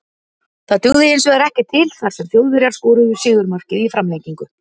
Það dugði hinsvegar ekki til þar sem Þjóðverjar skoruðu sigurmarkið í framlengingu.